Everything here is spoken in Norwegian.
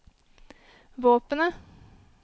våpenet